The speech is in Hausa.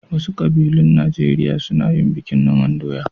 Wasu ƙabilun Najeriya suna yin bikin noman doya.